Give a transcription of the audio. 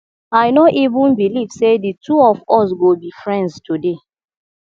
i no even believe say the two of us go be friends today